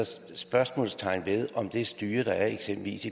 spørgsmålstegn ved om det styre der eksempelvis